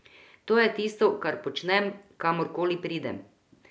To je tisto, kar počnem, kamor koli pridem.